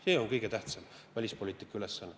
See on kõige tähtsam välispoliitika ülesanne.